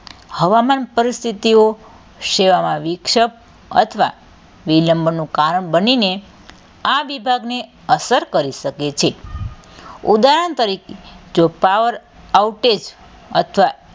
હવામાન પરિસ્થિતિઓ, સેવામાં વીક્ષક અથવાં વિલંબનું કારણ બનીને આ વિભાગને અસર કરી શકે છે ઉદાહરણ તરીકે જો power outage અથવા,